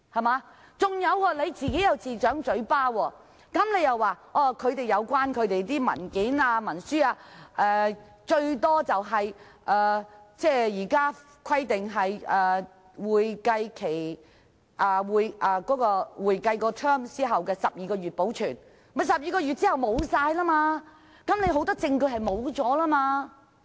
還有，他又自摑嘴巴，說按照現行規定，有關文件或文書紀錄須保留不少於會計年度完結後12個月，即12個月後很多證據也會消失。